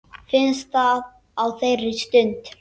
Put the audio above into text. Finnst það á þeirri stund.